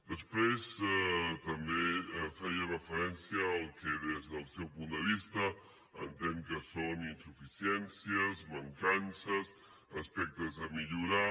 després també feia referència al que des del seu punt de vista entén que són insuficiències mancances aspectes a millorar